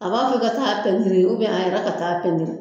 A b'a fɛ ka taa pɛntiri a yɛrɛ ka pɛntiri